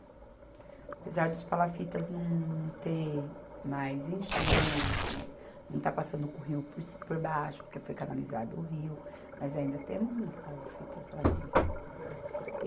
Apesar dos palafitas não ter mais enchentes, não está passando o rio por ci, por baixo, porque foi canalizado o rio, mas ainda temos muito palafitas lá dentro.